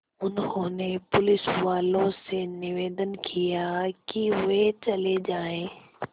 उन्होंने पुलिसवालों से निवेदन किया कि वे चले जाएँ